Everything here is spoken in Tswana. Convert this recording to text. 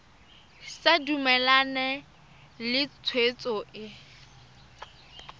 sa dumalane le tshwetso e